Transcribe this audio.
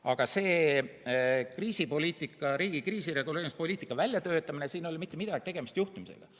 Aga selle riigi kriisireguleerimispoliitika väljatöötamise puhul ei ole mitte midagi tegemist juhtimisega.